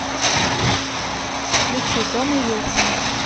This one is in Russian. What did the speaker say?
включи домо вилсон